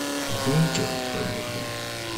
бункер поехали